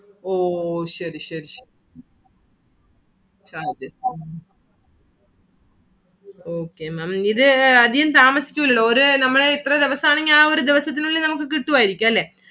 ഓ ശരി ശരി charge okay Maám ഇത് അധികം താമസിക്കുല്ലല്ലോ. ഒരു നമ്മള് ഇത്ര ദിവസം ആണ്. ആ ഒരു ദിവസത്തിന് ഉള്ളിൽ നമുക്ക് കിട്ടുവാരിക്കും അല്ലെ.